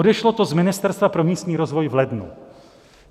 Odešlo to z Ministerstva pro místní rozvoj v lednu.